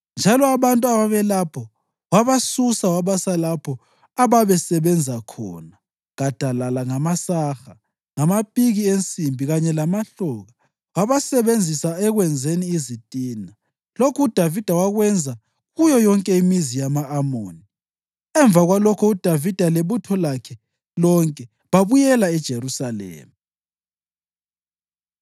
njalo abantu ababelapho wabasusa wabasa lapho ababezasebenza khona gadalala ngamasaha, ngamapiki ensimbi kanye lamahloka, wabasebenzisa ekwenzeni izitina. Lokhu uDavida wakwenza kuyo yonke imizi yama-Amoni. Emva kwalokho uDavida lebutho lakhe lonke babuyela eJerusalema.